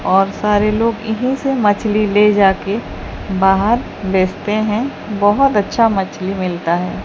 और सारे लोग यहीं से मछली ले जाके बाहर बेचते हैं बहोत अच्छा मछली मिलता है।